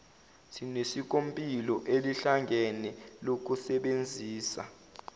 sinesikompilo elihlangene lokusebenzisa